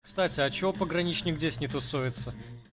кстати а че пограничник здесь не тусуется